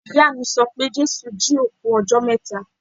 Ìyáà mi sọ pé Jésù jí òkú ọjọ́ mẹ́ta.